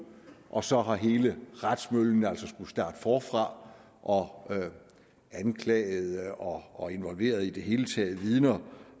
og så har hele retsmøllen altså skullet starte forfra og anklagede og involverede i det hele taget vidner